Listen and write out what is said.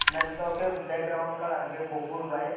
naitotok ke background colour higke kopor bai.